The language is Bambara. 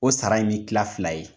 O sara in bi kila fila ye.